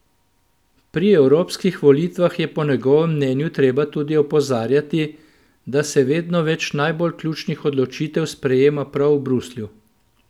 Pri evropskih volitvah je po njegovem mnenju treba tudi opozarjati, da se vedno več najbolj ključnih odločitev sprejema prav v Bruslju.